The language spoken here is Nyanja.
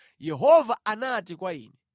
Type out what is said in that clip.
Yehova anati kwa ine,